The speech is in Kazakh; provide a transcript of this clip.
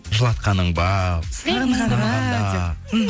жылатқаның ба мхм